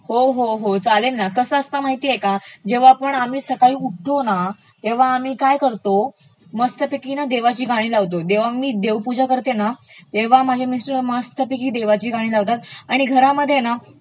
हो हो चालेल ना , कसं असतं माहितेय का, जेव्हा पण आम्ही सकाळी उठतो ना, तेव्हा आम्ही काय करतो मस्तपैकी ना देवाची गाणी लावतो, जेव्हा मी देवपूजा करते तेव्हा माझे मिस्टर मस्तपैकी देवाची गाणी लावताता आणि घराध्ये